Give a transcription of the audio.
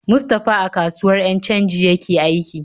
Mustapha a kasuwar 'yan canji yake aiki.